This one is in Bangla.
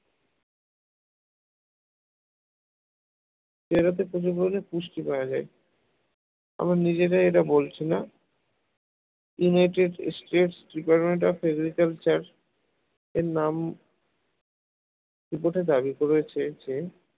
পেয়ারাতে প্রচুর পরিমাণে পুষ্টি পাওয়া যায় আমরা নিজেরা এটা বলছি না United States department of agriculture এর নাম report এ দাবি করেছে যে